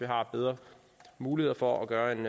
har bedre muligheder for at gøre en